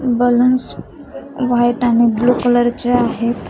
Balloons white आणि blue colour चे आहेत.